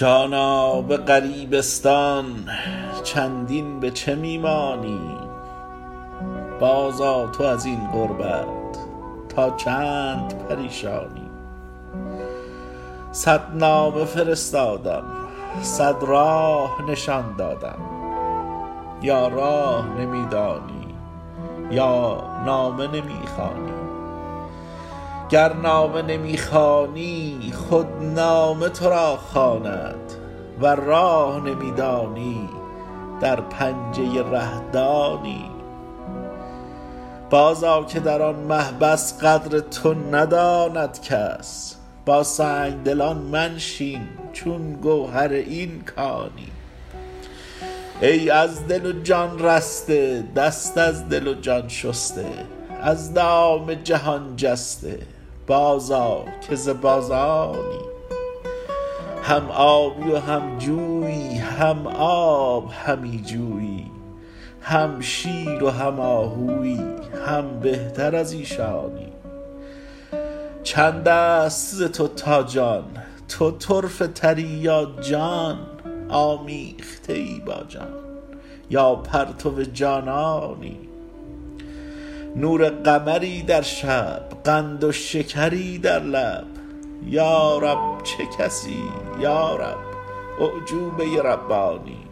جانا به غریبستان چندین به چه می مانی بازآ تو از این غربت تا چند پریشانی صد نامه فرستادم صد راه نشان دادم یا راه نمی دانی یا نامه نمی خوانی گر نامه نمی خوانی خود نامه تو را خواند ور راه نمی دانی در پنجه ره-دانی بازآ که در آن محبس قدر تو نداند کس با سنگ دلان منشین چون گوهر این کانی ای از دل و جان رسته دست از دل و جان شسته از دام جهان جسته بازآ که ز بازانی هم آبی و هم جویی هم آب همی جویی هم شیر و هم آهویی هم بهتر از ایشانی چند است ز تو تا جان تو طرفه تری یا جان آمیخته ای با جان یا پرتو جانانی نور قمری در شب قند و شکری در لب یا رب چه کسی یا رب اعجوبه ربانی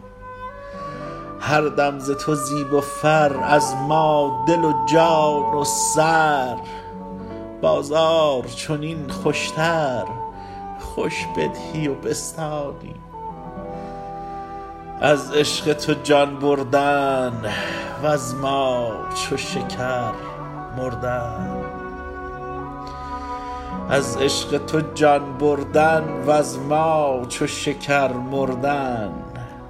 هر دم ز تو زیب و فر از ما دل و جان و سر بازار چنین خوشتر خوش بدهی و بستانی از عشق تو جان بردن وز ما چو شکر مردن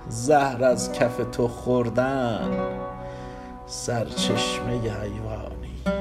زهر از کف تو خوردن سرچشمه حیوانی